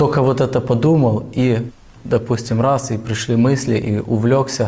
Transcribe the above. только вот это подумал и допустим раз и пришли мысли и увлёкся